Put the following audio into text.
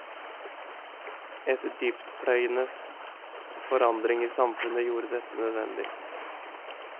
En dyptpløyende forandring i samfunnet gjorde dette nødvendig.